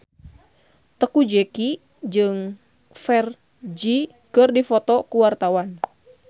Teuku Zacky jeung Ferdge keur dipoto ku wartawan